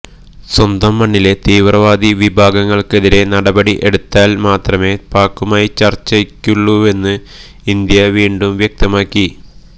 സ്വന്തം മണ്ണിലെ തീവ്രവാദി വിഭാഗങ്ങള്ക്കെതിരെ നടപടി എടുത്താന് മാത്രമേ പാക്കുമായി ചര്ച്ചയുള്ളുവെന്ന് ഇന്ത്യ വീണ്ടും വ്യക്തമാക്കി